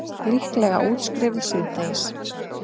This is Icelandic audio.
Líklega útskrifuð síðdegis